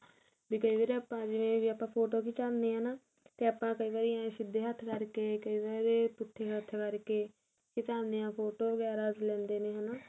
ਵੀ ਕਈ ਵਾਰੀ ਆਪਾਂ ਨੇ ਵੀ ਆਪਾਂ photo ਖਿਚਾਂਦੇ ਆ ਨਾ ਤੇ ਆਪਾਂ ਤੇ ਕਈ ਵਾਰੀ ਇਹ ਸਿਧੇ ਹੱਥ ਕਰਕੇ ਕਈ ਵਾਰੀ ਪੁੱਠੇ ਹੱਥ ਕਰਕੇ ਖਿਚਾਣੇ ਆ photo ਵਗੈਰਾ ਲੈਂਦੇ ਨੇ ਹਨਾ